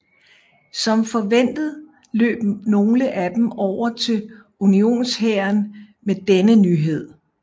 Som forventet løb nogle af dem over til unionshæren med denne nyhed